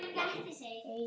Hún var hress.